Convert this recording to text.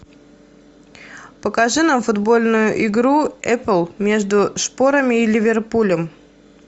покажи нам футбольную игру апл между шпорами и ливерпулем